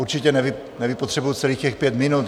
Určitě nevypotřebuji celých těch pět minut.